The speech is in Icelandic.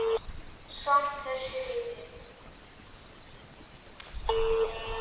Samt þess virði.